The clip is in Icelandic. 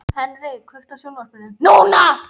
Henrik, kveiktu á sjónvarpinu.